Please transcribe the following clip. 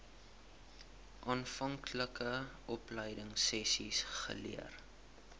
aanvanklike opleidingsessies geleer